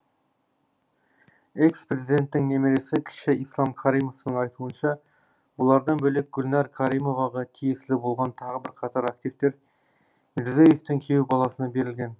экс президенттің немересі кіші ислам каримовтың айтуынша бұлардан бөлек гүлнар каримоваға тиесілі болған тағы бірқатар активтер мирзиеевтің күйеу баласына берілген